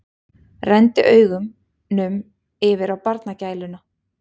Renndi augunum yfir á barnagæluna.